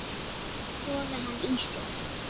Sogar hann í sig.